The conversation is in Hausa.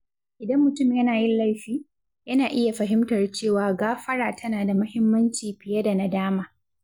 Idan mutum yana yin laifi, yana iya fahimtar cewa gãfara tana da mahimmanci fiye da nadama.